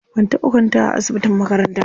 Ban taɓa kwantawa a asibitin makaranta ba.